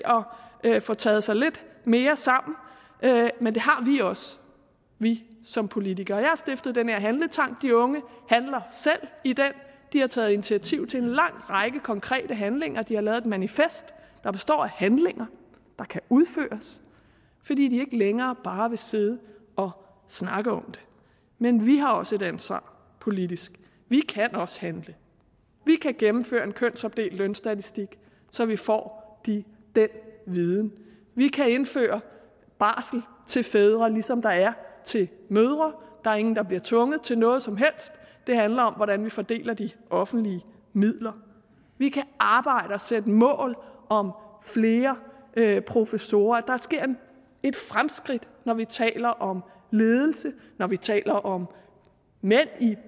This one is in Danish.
at få taget sig lidt mere sammen men det har vi også vi som politikere jeg har stiftet den her handletank de unge handler selv i den de er taget initiativ til en lang række konkrete handlinger de har lavet et manifest der består af handlinger der kan udføres fordi de ikke længere bare vil sidde og snakke om det men vi har også et ansvar politisk vi kan også handle vi kan gennemføre en kønsopdelt lønstatistik så vi får den viden vi kan indføre barsel til fædre ligesom der er til mødre der er ingen der bliver tvunget til noget som helst det handler om hvordan vi fordeler de offentlige midler vi kan arbejde og sætte mål om flere professorer der sker et fremskridt når vi taler om ledelse når vi taler om mænd i